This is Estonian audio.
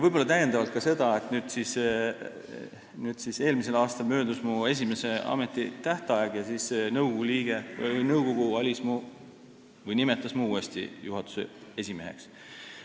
Võib-olla täiendavalt ütlen ka seda, et eelmisel aastal möödus mul esimene ametitähtaeg ja nõukogu nimetas mu uuesti juhatuse esimeheks.